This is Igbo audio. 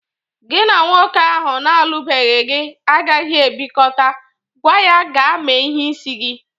Gị na nwoke ahụ na-alụbeghi gị agaghi ebikọta. Gwa ya gaa mee ihe n'isi gị!